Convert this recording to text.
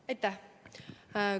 Aitäh!